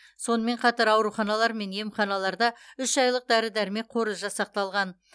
сонымен қатар ауруханалар мен емханаларда үш айлық дәрі дәрмек қоры жасақталған